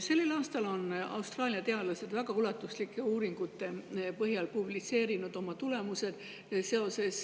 Sellel aastal on Austraalia teadlased väga ulatuslike uuringute põhjal publitseerinud oma tulemused seoses